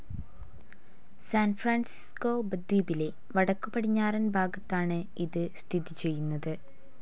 San Francisco ഉപദ്വീപിലെ വടക്കുപടിഞ്ഞാറൻ ഭാഗത്താണ് ഇത് സ്ഥിതി ചെയ്യുന്നത്.